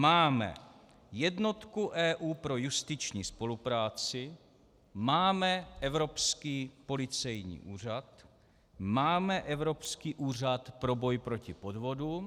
Máme jednotku EU pro justiční spolupráci, máme Evropský policejní úřad, máme Evropský úřad pro boj proti podvodům.